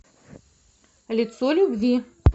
лицо любви